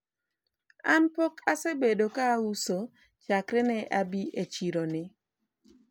an pok asebedo ka auso chakre ne abi e chiro ni